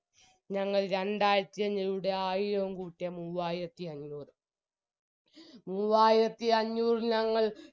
ഞങ്ങൾ രണ്ടായിരത്തി അഞ്ഞൂടെ ആയിരവും കൂട്ടിയ മൂവായിരത്തിയഞ്ഞൂര് മൂവായിരത്തിഅഞ്ഞൂർ ഞങ്ങൾ